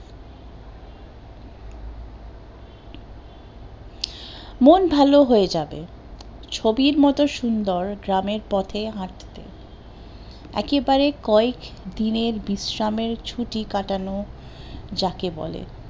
মন ভালো হয়ে যাবে, ছবির মতো সুন্দর গ্রামের পথে হাঠতে, একেবারে কয়েক দিনের বিশ্রামের ছুটি কাটানো যাকে বলে